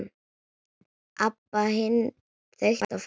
Abba hin þaut á fætur.